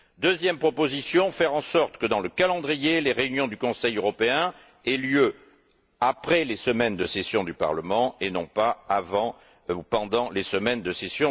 Deuxième proposition, faire en sorte que, dans le calendrier, les réunions du Conseil européen aient lieu après les semaines de session du Parlement et non pas avant ou pendant celles ci.